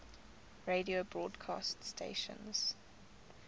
radio broadcast stations